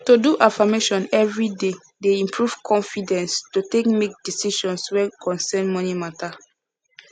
to do affirmation every day dey improve confidence to take make decisions wey concern money matter